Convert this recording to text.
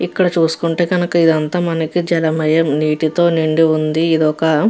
ఇక్కడ చూసుకుంటే కానక ఇదంతా మనకి జలమయం నీటితో నిండి ఉంది ఇది ఒక --